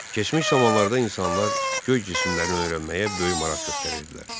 Keçmiş zamanlarda insanlar göy cisimlərini öyrənməyə böyük maraq göstərirdilər.